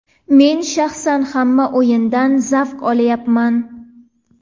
Men shaxsan hamma o‘yindan zavq olayapman.